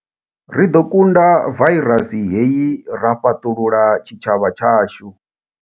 Ri ḓo kunda vairasi hei ra fhaṱulula tshitshavha tshashu.